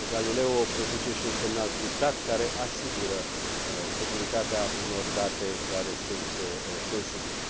Galileo produce și un semnal criptat, care asigură securitatea unor date care sunt sensibile.